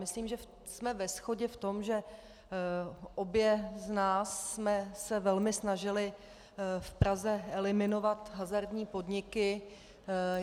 Myslím, že jsme ve shodě v tom, že obě z nás jsme se velmi snažily v Praze eliminovat hazardní podniky.